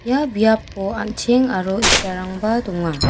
ia biapo an·cheng aro itarangba donga.